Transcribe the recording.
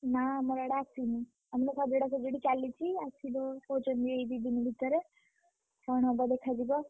ନା ଆମର ଆଡେ ଆସିନି। ଆମର ସଜଡାସଜାଡି ଚାଲିଛି ଆସିଲେ କହୁଛନ୍ତି ଏଇ ଦି ଦିନ ଭିତରେ, କଣ ହବ ଦେଖାଯିବ।